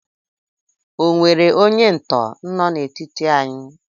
O nwere onye ntọ nọ n'etiti anyị?